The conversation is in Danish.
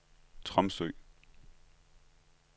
Tromsø